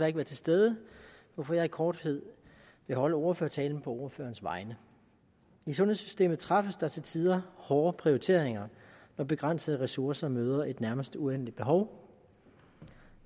ikke være til stede hvorfor jeg i korthed vil holde ordførertalen på ordførerens vegne i sundhedssystemet træffes der til tider hårde prioriteringer når begrænsede ressourcer møder et nærmest uendeligt behov